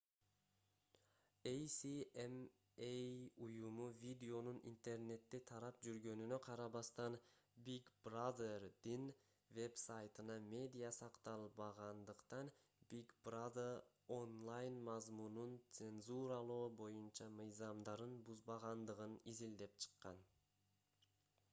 асма уюму видеонун интернетте тарап жүргөнүнө карабастан big brother'дин вебсайтына медиа сакталбагандыктан big brother онлайн мазмунун цензуралоо боюнча мыйзамдарын бузбагандыгын изилдеп чыккан